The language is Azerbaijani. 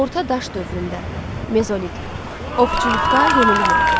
Orta daş dövründə, mezolit, ovçuluqda yenilik oldu.